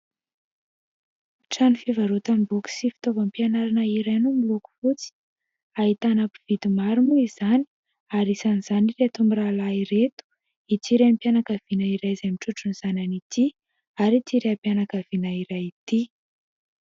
Trano fivarotana boky sy fitaovam-mpianarana iray no miloko fotsy. Ahitana mpividy maro moa izany ary isan'izany ireto mirahalahy ireto, ity renim-pianakaviana iray izay mitrotro ny zanany ity ary ity raim-pianakaviana iray ity.